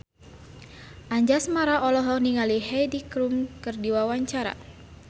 Anjasmara olohok ningali Heidi Klum keur diwawancara